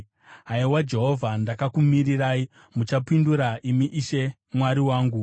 Haiwa Jehovha, ndakakumirirai; muchapindura, imi Ishe Mwari wangu.